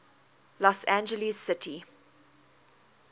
los angeles city